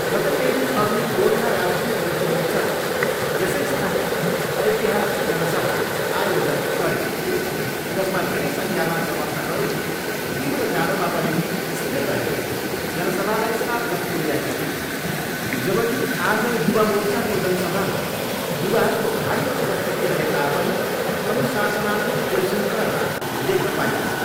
गत केही दिनअघि गोर्खा राष्ट्रिय मुक्ति मोर्चाले यसै स्थानमा ऐतिहासिक जनसभा आयोजन गरेको थियो जसमा धेरै सङ्ख्यामा समर्थकहरू तीव्र जाडोमा पनि स्थिर रहेर जनसभालाई सार्थक तुल्याएका थिए जबकि आज युवा मोर्चाको जनसभामा युवाहरूको भारी उपस्थिति रहे तापनि अनुशासनात्मक विश्रृङ्खलता देख्न पाइयो।